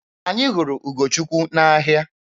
Anyị hụrụ Ugochukwu n'ahịa.